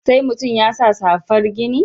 Sai mutum ya sa safar gini?